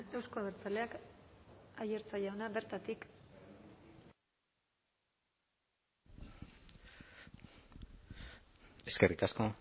euzko abertzaleak aiartza jauna bertatik eskerrik asko